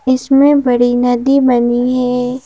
इसमें बड़ी नदी बनी है।